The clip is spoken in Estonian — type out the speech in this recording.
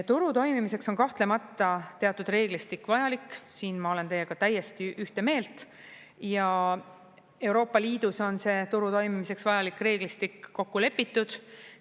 Turu toimimiseks on kahtlemata teatud reeglistik vajalik – siin ma olen teiega täiesti ühte meelt – ja Euroopa Liidus on see turu toimimiseks vajalik reeglistik kokku lepitud.